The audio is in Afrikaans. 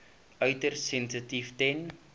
uiters sensitief ten